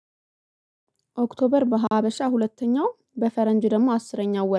ኦክቶበር በሀበሻ ሁለተኛው በፈረንጅ ደግሞ አስረኛው ወር